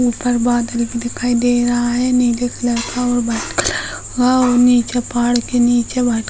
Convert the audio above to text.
ऊपर बादल भी दिखाई दे रहा है नीले कलर का और व्हाइट कलर का और नीचे पहाड़ के नीचे व्हाइट --